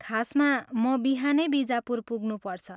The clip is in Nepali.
खासमा, म बिहानै बिजापुर पुग्नुपर्छ।